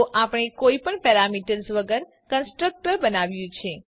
તો આપણે કોઈ પણ પેરામીટર્સ વગર કન્સ્ટ્રક્ટર બનાવ્યું છે